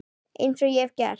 Eins og ég hef gert.